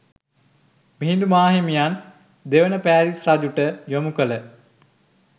මිහිඳු මාහිමියන් දෙවන පෑතිස් රජුට යොමු කළ